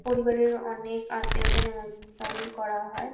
পরিবারের অনেক আত্মীয়দের নেমন্ত্রণ করা হয়।